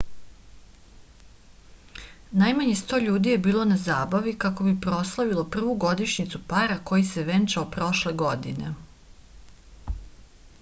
najmanje sto ljudi je bilo na zabavi kako bi proslavilo prvu godišnjicu para koji se venčao prošle godine